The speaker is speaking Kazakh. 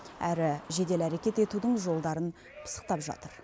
әрі жедел әрекет етудің жолдарын пысықтап жатыр